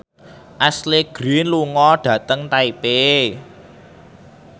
Ashley Greene lunga dhateng Taipei